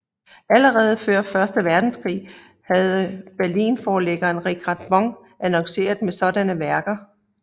Allerede før første verdenskrig havde berlinforlæggeren Richard Bong annonceret med sådanne værker